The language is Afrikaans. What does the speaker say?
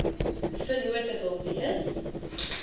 vennote wil wees